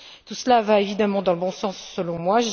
Tout cela va évidemment dans le bon sens, selon moi.